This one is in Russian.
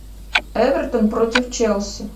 эвертон против челси